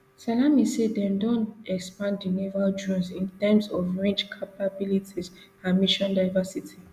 salami say dem don expand di naval drones in terms of range capabilities and mission diversity